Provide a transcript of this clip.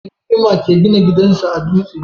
Mutum mai hikima ke gina gidan sa a duste?